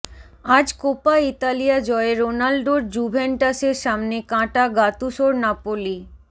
আজ Coppa Italia জয়ে রোনাল্ডোর জুভেন্টাসের সামনে কাঁটা গাতুসোর নাপোলি